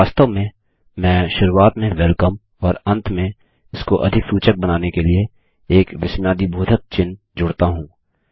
वास्तव में मैं शुरूआत में वेलकम और अंत में इसको अधिक सूचक बनाने के लिए एक विस्मयादिबोधक चिह्न जोड़ता हूँ